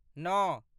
नओ